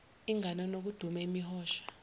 inganono kudume imihosha